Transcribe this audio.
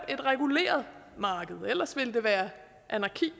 et reguleret marked ellers ville det være anarki